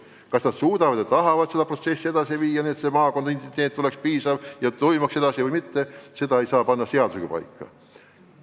Kas nad suudavad ja tahavad seda protsessi edasi viia, nii et maakonna identiteet oleks olemas, seda ei saa seadusega paika panna.